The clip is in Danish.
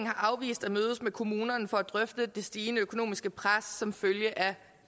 har afvist at mødes med kommunerne for at drøfte det stigende økonomiske pres som følge af